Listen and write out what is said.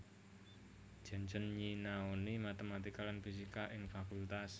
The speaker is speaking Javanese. Janssen nyinaoni matematika lan fisika ing Fakultas